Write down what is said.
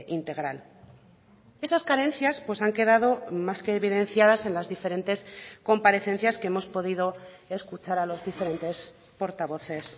integral esas carencias han quedado más que evidenciadas en las diferentes comparecencias que hemos podido escuchar a los diferentes portavoces